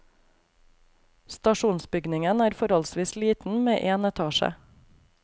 Stasjonsbygningen er forholdsvis liten, med én etasje.